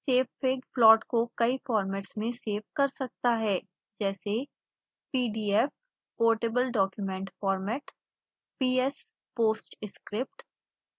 savefig plot को कई formats में सेव कर सकता है जैसे